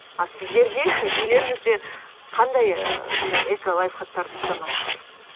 ал сіздерде үйлеріңізде қандай ы сондай эколайфхактарды ұстанасыздар